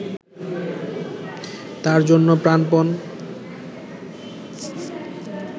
তার জন্য প্রাণপন